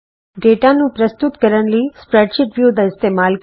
data ਨੂੰ ਪ੍ਰਸਤੁਤ ਕਰਨ ਲਈ ਸਪਰੈਡਸ਼ੀਟ ਵਿਊ ਦਾ ਇਸਤੇਮਾਲ ਕਰੋ